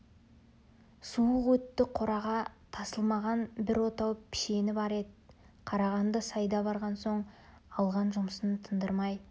суық өтті қораға тасылмаған бір отау пішені бар еді қарағанды сайда барған соң алған жұмысын тындырмай